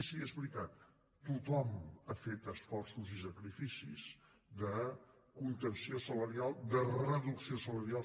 sí és veritat tothom ha fet esforços i sacrificis de contenció salarial de reducció salarial